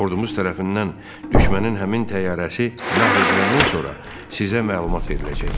Ordumuz tərəfindən düşmənin həmin təyyarəsi məhv ediləndən sonra sizə məlumat veriləcək.